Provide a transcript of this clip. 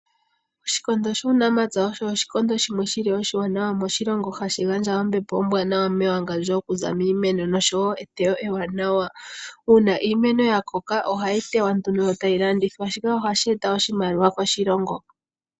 Oshikondo shuunamapya osho oshikondo shimwe shili oshiwanawa moshilongo, hashi gandja ombepo ombwaanawa mewangandjo okuza miimeno, oshowo eteyo ewanawa. Uuna iimeno yakoka, ohayi teywa nduno, e tayi landithwa.